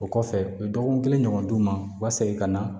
O kɔfɛ u ye dɔgɔkun kelen ɲɔgɔn d'u ma u ka segin ka na